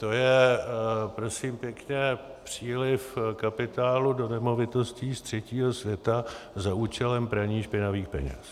To je prosím pěkně příliv kapitálu do nemovitostí z třetího světa za účelem praní špinavých peněz.